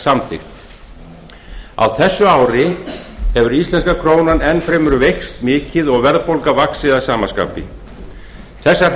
samþykkt á þessu ári hefur íslenska krónan enn fremur veikst mikið og verðbólga vaxið að sama skapi þessar